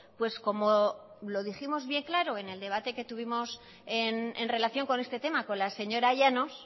pues como lo dijimos bien claro en el debate que tuvimos en relación con este tema con la señora llanos